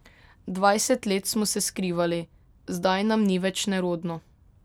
Dvajset let smo se skrivali, zdaj nam ni več nerodno.